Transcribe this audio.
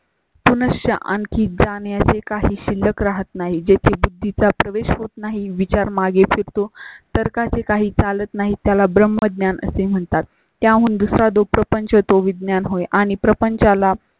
पुण्या च्या आणखी जाण्या ची काहीच शिल्लक राहत नाही. जेथे बुद्धीचा प्रवेश होत नाही. विचार मागे फिरतो. तर्का चे काही चालत नाही. त्याला ब्रह्मज्ञान असे म्हणतात. त्या हून दुसरा दुखापन्च तो विज्ञान होय. आणि प्रपंचाला